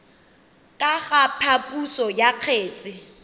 ka ga phaposo ya kgetse